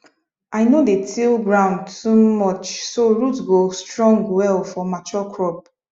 i no dey till ground too much so root go strong well for mature crop